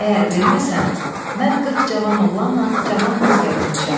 Əgər verməsən, mən qırx cavan oğlanla cavan qız gətirmişəm.